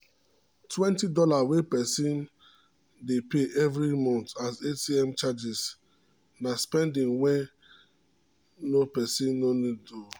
20 dollar wey person dey pay every month as atm charges na spending wen no person no need ooo